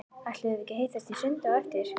Ætluðum við ekki að hittast í sundi á eftir?